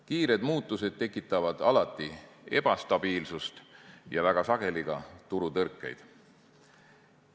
Kiired muutused tekitavad alati ebastabiilsust ja väga sageli ka turutõrkeid.